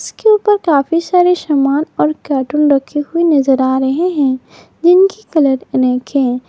इसके ऊपर काफी सारे समान और कार्टून रखी हुई नजर आ रहे हैं जिनकी कलर अनेक हैं।